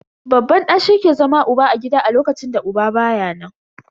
Babban ɗa shi ke zama uba a gida a lokacin da uba baya nan.